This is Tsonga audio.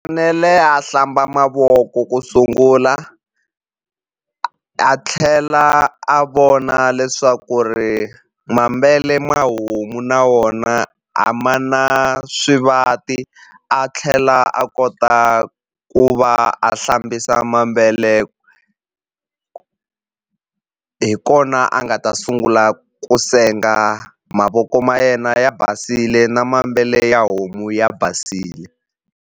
a hlamba mavoko ku sungula a tlhela a vona leswaku ri ma homu na wona a ma na swivati a tlhela a kota ku va a hlambisa hi kona a nga ta sungula ku senga mavoko ma yena ya basile na ya homu ya basile.